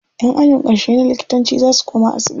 Ƴan ajin ƙarshe na likitanci za su koma asibiti.